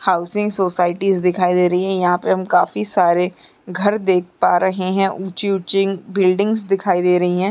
Housing societies दिखाई दे रही हैं यहाँ पे हम काफी सारे घर देख पा रहे हैं ऊंची-ऊंची बिल्डिंगस दिखाई दे रही हैं।